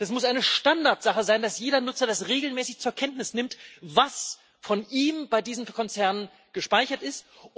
Das muss eine Standardsache sein, dass jeder Nutzer das regelmäßig zur Kenntnis nimmt, was von ihm bei diesen Konzernen gespeichert ist.